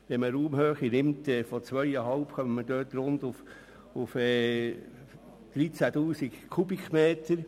Bei einer Raumhöhe von 2,5 Metern kommen wir auf rund 13 000 Kubikmeter.